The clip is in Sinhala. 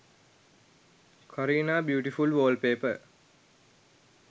kareena beautiful wallpaper